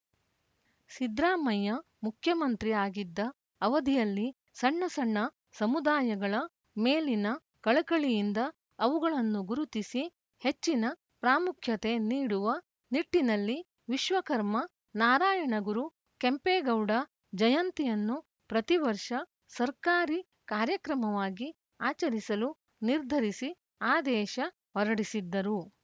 ಸಿದ್ರಾಮಯ್ಯ ಮುಖ್ಯಮಂತ್ರಿ ಆಗಿದ್ದ ಅವಧಿಯಲ್ಲಿ ಸಣ್ಣ ಸಣ್ಣ ಸಮುದಾಯಗಳ ಮೇಲಿನ ಕಳಕಳಿಯಿಂದ ಅವುಗಳನ್ನು ಗುರುತಿಸಿ ಹೆಚ್ಚಿನ ಪ್ರಾಮುಖ್ಯತೆ ನೀಡುವ ನಿಟ್ಟಿನಲ್ಲಿ ವಿಶ್ವಕರ್ಮ ನಾರಾಯಣಗುರು ಕೆಂಪೇಗೌಡ ಜಯಂತಿಯನ್ನು ಪ್ರತಿವರ್ಷ ಸರ್ಕಾರಿ ಕಾರ್ಯಕ್ರಮವಾಗಿ ಆಚರಿಸಲು ನಿರ್ಧರಿಸಿ ಆದೇಶ ಹೊರಡಿಸಿದ್ದರು